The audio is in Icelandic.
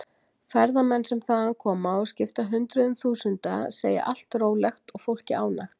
Ferðamenn sem þaðan koma og skipta hundruðum þúsunda segja allt rólegt og fólkið ánægt.